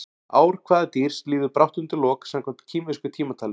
Ár hvaða dýrs líður brátt undir lok samkvæmt kínversku tímatali?